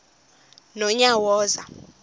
nonyawoza